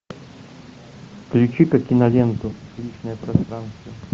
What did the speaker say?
включи ка киноленту личное пространство